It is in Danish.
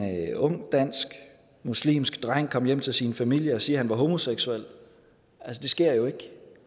ung dansk muslimske dreng komme hjem til sin familie og sige at han var homoseksuel det sker jo ikke